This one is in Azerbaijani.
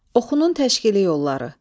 Oxunun təşkili yolları.